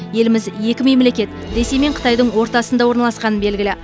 еліміз екі мемлекет ресей мен қытайдың ортасында орналасқаны белгілі